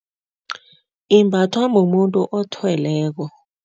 Imbathwa mumuntu othweleko.